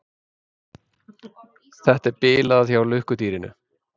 Þetta er bilað hjá lukkudýrinu.